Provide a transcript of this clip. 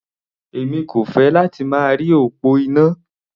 Èmi kò fẹ́ láti máa rí òpó iná.